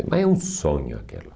Mas é um sonho aquilo.